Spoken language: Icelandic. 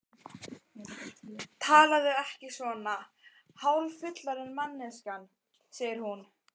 Talaðu ekki svona, hálffullorðin manneskjan, segir hún.